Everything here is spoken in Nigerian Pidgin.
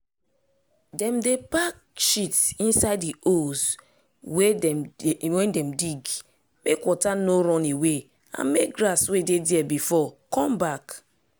dem dey pack shit inside di holes wey dem dig mek water no run away and mek grass wey dey there before come back.